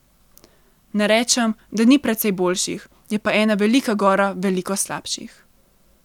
Ne rečem, da ni precej boljših, je pa ena velika gora veliko slabših.